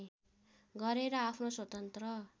गरेर आफ्नो स्वतन्त्र